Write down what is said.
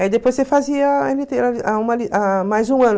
Aí depois você fazia mais um ano.